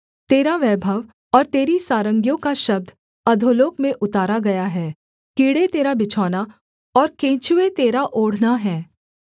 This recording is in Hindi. तेरा वैभव और तेरी सारंगियों को शब्द अधोलोक में उतारा गया है कीड़े तेरा बिछौना और केंचुए तेरा ओढ़ना हैं